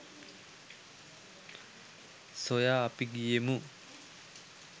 සොයා අපි ගියෙමු